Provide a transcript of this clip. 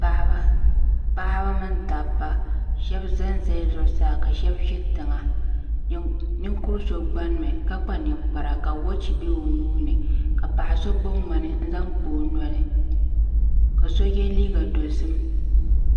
Paɣaba mini dabba sheba zanzala zuɣusaa ka sheba ʒi tiŋa ninkuri so gbani mi ka kpa ninkpara ka woochi be o nuuni ka paɣa so gbibi ŋmani n zaŋ kpa o noli ka so ye liiga dozim.